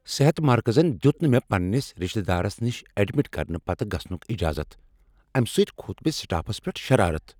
صحت مرکزن دیت نہٕ مےٚ پنٛنس رشتہ دارس نش ایڈمٹ کرنہٕ پتہٕ گژھنک اجازت۔ امہ سۭتۍ کھوٚت مےٚ سٹافس پیٹھ شرارت۔